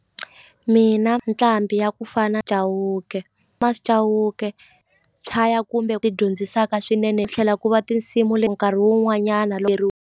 Mina nqambi ya ku fana Chauke Chauke chaya kumbe ti dyondzisaka swinene tlhela ku va tinsimu leti nkarhi wun'wanyana .